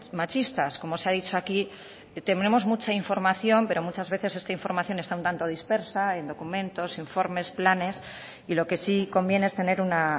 machistas como se ha dicho aquí tenemos mucha información pero muchas veces esta información está un tanto dispersa en documentos informes planes y lo que sí conviene es tener una